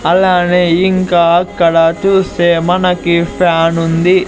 అలానే ఇంకా అక్కడ చూస్తే మనకి ఫ్యానుంది .